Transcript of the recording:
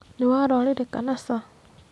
Nĩ wara ũrĩrĩ kana ca?